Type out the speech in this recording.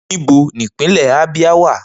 Nibo ni Ipinle Abia wa?